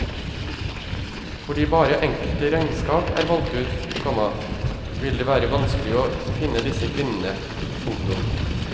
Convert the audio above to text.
Fordi bare enkelte regnskap er valgt ut, komma vil det være vanskelig å finne disse kvinnene. punktum